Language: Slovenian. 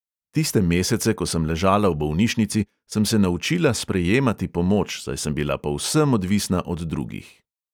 "Tiste mesece, ko sem ležala v bolnišnici, sem se naučila sprejemati pomoč, saj sem bila povsem odvisna od drugih."